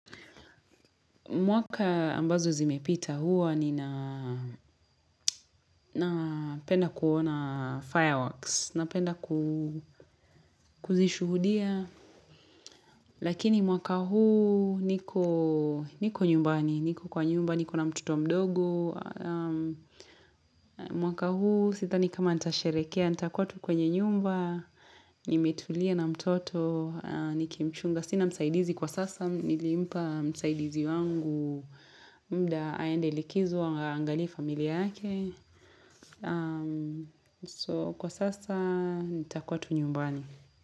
Mwaka ambazo zimepita huwa ninapenda kuona fireworks, napenda kuzishuhudia, lakini mwaka huu niko nyumbani, niko kwa nyumba, niko na mtoto mdogo, mwaka huu sidhani kama nitasherehekea, nitakwa tu kwenye nyumba, nimetulia na mtoto, nikimchunga. Sina msaidizi kwa sasa, nilimpa msaidizi wangu muda aende likizo aangalie familia yake. So kwa sasa, nitakua tu nyumbani.